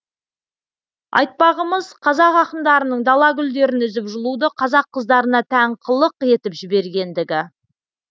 айтпағымыз қазақ ақындарының дала гүлдерін үзіп жұлуды қазақ қыздарына тән қылық етіп жібергендігі